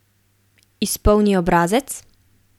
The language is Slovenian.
Izpolni obrazec?